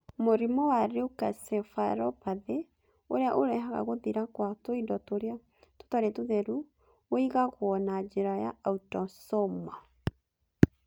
Mũrimũ wa leukencephalopathy ũrĩa ũrehaga gũthira kwa tũindo tũrĩa tũtarĩ tũtheru ũigagwo na njĩra ya autosomal.